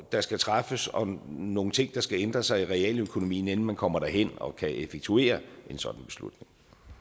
der skal træffes om nogle ting der skal ændre sig i realøkonomien inden man kommer derhen og kan effektuere en sådan beslutning